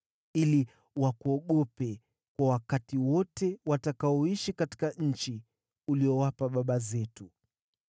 ili wakuogope kwa wakati wote watakaoishi katika nchi uliyowapa baba zetu.